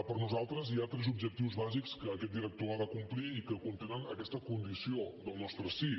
per nosaltres hi ha tres objectius bàsics que aquest director ha de complir i que contenen aquesta condició del nostre sí